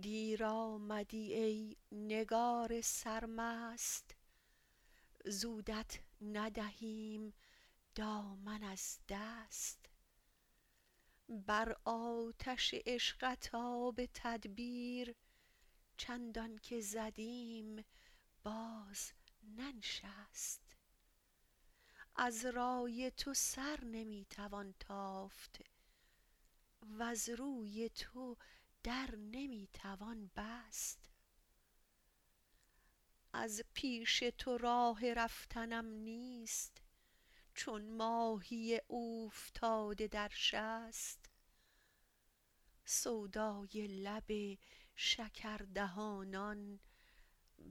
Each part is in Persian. دیر آمدی ای نگار سرمست زودت ندهیم دامن از دست بر آتش عشقت آب تدبیر چندان که زدیم باز ننشست از رای تو سر نمی توان تافت وز روی تو در نمی توان بست از پیش تو راه رفتنم نیست چون ماهی اوفتاده در شست سودای لب شکردهانان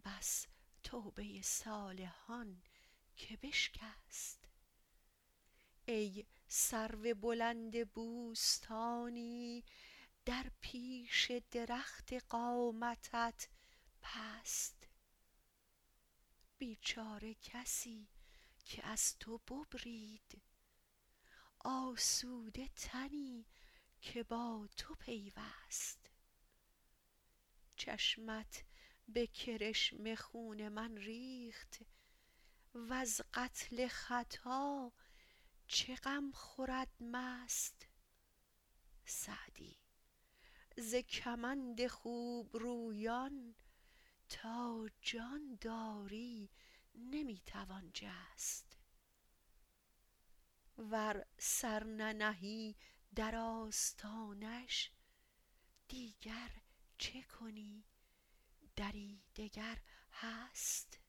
بس توبه صالحان که بشکست ای سرو بلند بوستانی در پیش درخت قامتت پست بیچاره کسی که از تو ببرید آسوده تنی که با تو پیوست چشمت به کرشمه خون من ریخت وز قتل خطا چه غم خورد مست سعدی ز کمند خوبرویان تا جان داری نمی توان جست ور سر ننهی در آستانش دیگر چه کنی دری دگر هست